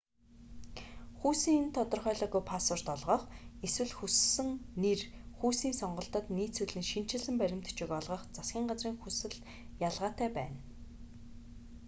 хүйсийг тодорхойлоогүй паспорт олгох x эсвэл хүссэн нэр хүйсийн сонголтод нийцүүлэн шинэчилсэн баримт бичиг олгох засгийн газрын хүсэл ялгаатай байна